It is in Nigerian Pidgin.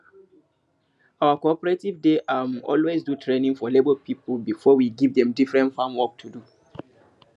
our cooperative dey um always do training for labor people before we give dem different farm work to do